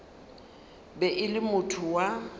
be e le motho wa